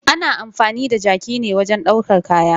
Ana amfani da jaki ne wajen ɗaukar kaya.